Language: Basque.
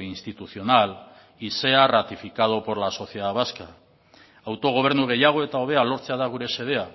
institucional y sea ratificado por la sociedad vasca autogobernu gehiago eta hobea lortzea da gure xedea